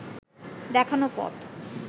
দেখানো পথ